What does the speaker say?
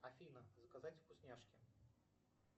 афина заказать вкусняшки